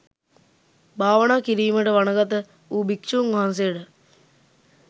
භාවනා කිරීමට වනගත වූ භික්‍ෂූන් වහන්සේට